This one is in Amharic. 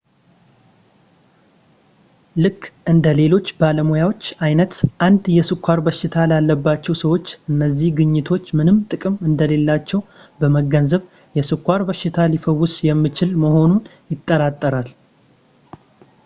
ልክ እንደ ሌሎች ባለሙያዎች አይነት 1 የስኳር በሽታ ላለባቸው ሰዎች እነዚህ ግኝቶች ምንም ጥቅም እንደሌላቸው በመገንዘብ የስኳር በሽታ ሊፈወስ የሚችል መሆኑን ይጠራጠራል